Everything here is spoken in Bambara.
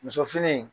Muso fini